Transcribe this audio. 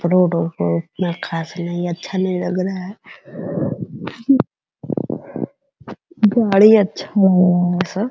उतना खास नहीं अच्छा नहीं लग रहा है गाड़ी अच्छा लग रहा है सो --